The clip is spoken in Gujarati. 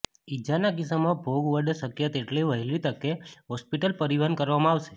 ઇજાના કિસ્સામાં ભોગ વડા શક્ય તેટલી વહેલી તકે હોસ્પિટલ પરિવહન કરવામાં આવશે